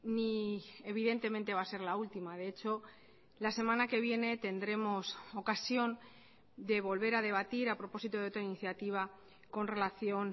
ni evidentemente va a ser la última de hecho la semana que viene tendremos ocasión de volver a debatir a propósito de otra iniciativa con relación